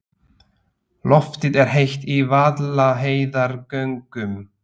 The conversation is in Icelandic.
Loftið er heitt í Vaðlaheiðargöngum.